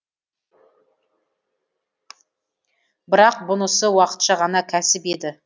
бірақ бұнысы уақытша ғана кәсіп еді